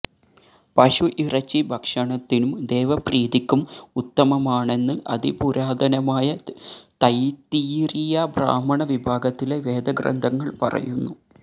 പശു ഇറച്ചി ഭക്ഷണത്തിനും ദേവപ്രീതിക്കും ഉത്തമമാണെന്ന് അതിപുരാതനമായ തൈത്തിരീയ ബ്രാഹ്മണ വിഭാഗത്തിലെ വേദഗ്രന്ഥങ്ങള് പറയുന്നു